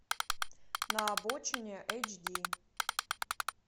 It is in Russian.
на обочине эйч ди